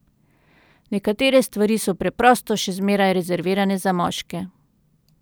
Nekatere stvari so preprosto še zmeraj rezervirane za moške.